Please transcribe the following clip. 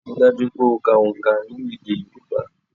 Ríi dájú wípé o ka òǹkà ní èdè Yorùbá